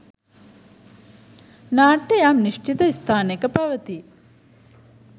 නාට්‍ය යම් නිශ්චිත ස්ථානයක පවතී